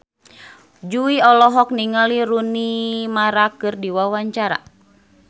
Jui olohok ningali Rooney Mara keur diwawancara